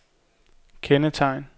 kendetegn